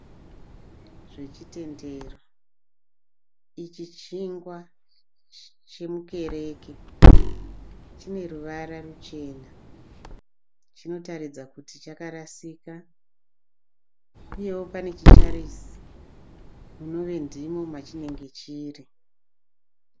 Zvechitendero. Ichi chingwa chemukereke. Chine ruvara ruchena. Chinotaridza kuti chakarasika uyewo pane chicharisi munove ndimo machinenge chiri.